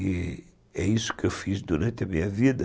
E é isso que eu fiz durante a minha vida.